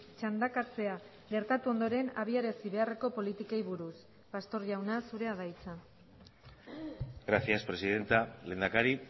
txandakatzea gertatu ondoren abiarazi beharreko politikei buruz pastor jauna zurea da hitza gracias presidenta lehendakari